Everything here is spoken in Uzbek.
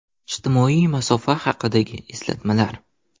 Ijtimoiy masofa haqidagi eslatmalar.